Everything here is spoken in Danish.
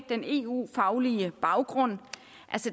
den eu faglige baggrund